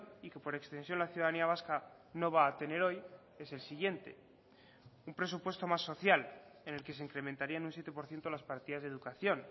y que por extensión la ciudadanía vasca no va a tener hoy es el siguiente un presupuesto más social en el que se incrementaría en un siete por ciento las partidas de educación